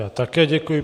Já také děkuji.